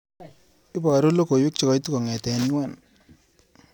Ibaru logoiwek chekaitu kong'ete UN.